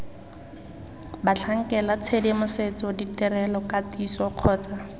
batlhankela tshedimosetso ditirelo katiso kgotsa